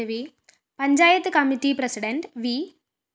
panchayat committee president V